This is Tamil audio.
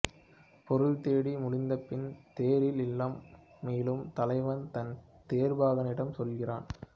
பொருள்தேடி முடிந்தபின் தேரில் இல்லம் மீளும் தலைவன் தன் தேர்பாகனிடம் சொல்கிறான்